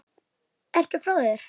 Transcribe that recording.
Ertu frá þér?